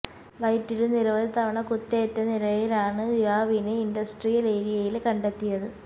വയറ്റില് നിരവധി തവണ കുത്തേറ്റ നിലയിലാണ് യുവാവിനെ ഇന്ഡസ്ട്രിയല് ഏരിയയില് കണ്ടെത്തിയത്